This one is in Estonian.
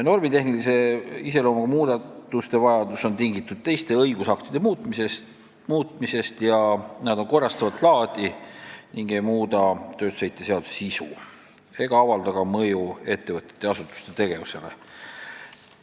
Normitehnilise iseloomuga muudatuste vajadus on tingitud teiste õigusaktide muutmisest, need on korrastavat laadi, ei muuda tööstusheite seaduse sisu ega avalda ka mõju ettevõtete ja asutuste tegevusele.